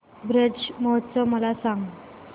ब्रज उत्सव मला सांग